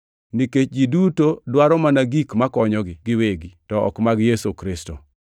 Nikech ji duto dwaro mana gik makonyogi giwegi, to ok mag Yesu Kristo.